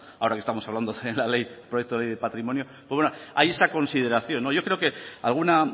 ahora que estamos hablando de la ley del proyecto de patrimonio pues bueno hay esa consideración yo creo que alguna